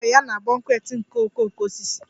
Ọ chọrọ ya na bouquet nke okooko osisi